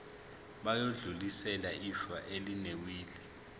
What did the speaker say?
bayodlulisela ifa elinewili